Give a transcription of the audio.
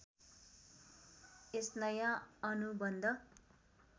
यस नयाँ अनुबन्ध